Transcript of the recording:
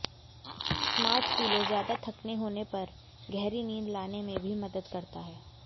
smart pillow ज्यादा थकने होने पर गहरी नींद लाने में भी मदद करता है